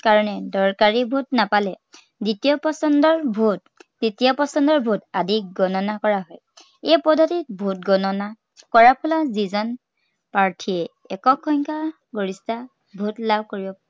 কাৰনে দৰকাৰী vote নাপালে, দ্বিতীয় পচন্দৰ vote, তৃতীয় পচন্দৰ vote আদি গননা কৰা হয়। এই পদ্ধতিত vote গননা কৰাৰ ফলত যি জন প্ৰাৰ্থীয়ে একক সংখ্যাগৰিষ্ঠতা vote লাভ কৰিব